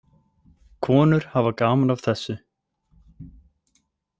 Konur hafa gaman af þessu.